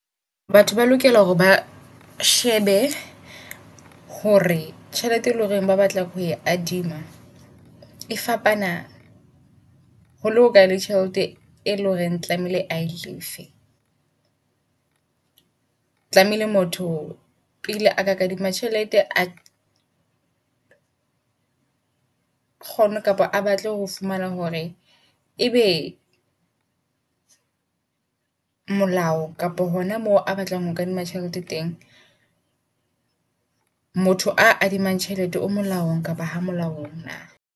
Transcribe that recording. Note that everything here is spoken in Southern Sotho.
Batho ba lokela hore ba shebe hore tjhelete e loreng ba batla ho adima e fapana ho le hokae le tjhelete e leng horeng tlamehile ae lefe. Tlamehile motho pele a ka kadima tjhelete a kgone kapa a batle ho fumana hore ebe molao kapa hona mo a batlang ho kadima tjhelete teng motho a kadimang tjhelete o molaong kapa ha nolaong na?